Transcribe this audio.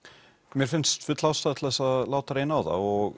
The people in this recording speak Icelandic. mér finnst full ástæða til þess að láta reyna á það og